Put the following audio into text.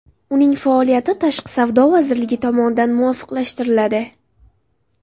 Uning faoliyati Tashqi savdo vazirligi tomonidan muvofiqlashtiriladi.